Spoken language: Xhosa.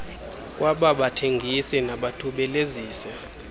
kwaba bathengisi nabathubelezisi